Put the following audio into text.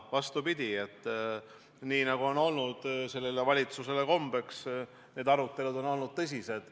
Vastupidi, nii nagu sellele valitsusele kombeks, on need arutelud olnud tõsised.